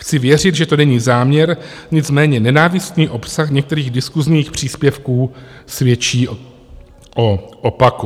Chci věřit, že to není záměr, nicméně nenávistný obsah některých diskusních příspěvků svědčí o opaku.